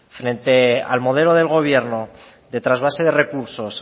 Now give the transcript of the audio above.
frente al modelo del gobierno de trasvase de recursos